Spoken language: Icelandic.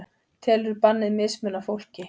Telur bannið mismuna fólki